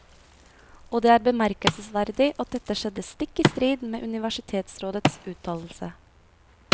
Og det er bemerkelsesverdig at dette skjedde stikk i strid med universitetsrådets uttalelse.